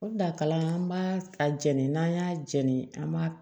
O la kalan an b'a a jɛni n'an y'a jɛni an b'a